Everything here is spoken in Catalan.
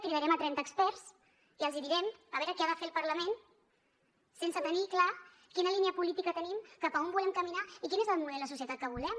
cridarem trenta experts i els direm a veure què ha de fer el parlament sense tenir clara quina línia política tenim cap a on volem caminar i quin és el model de societat que volem